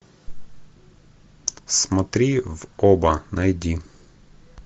смотри в оба найди